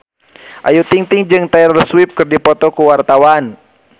Ayu Ting-ting jeung Taylor Swift keur dipoto ku wartawan